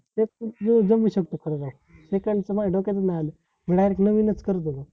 ते पण एक करू शकतो खरं राव हे तर माझ्या डोक्यातचं नाय आलं मी director नवीनच करत होतो